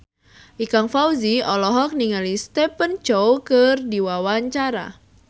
Ikang Fawzi olohok ningali Stephen Chow keur diwawancara